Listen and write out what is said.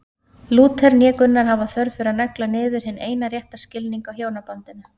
Lúther né Gunnar hafa þörf fyrir að negla niður hinn eina rétta skilning á hjónabandinu.